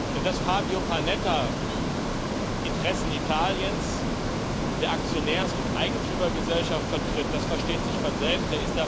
Denn dass Fabio Panetta die Interessen Italiens und der Aktionärs und Eigentümergesellschaft vertritt, das versteht sich von selbst.